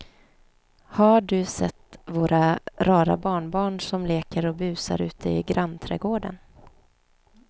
Har du sett våra rara barnbarn som leker och busar ute i grannträdgården!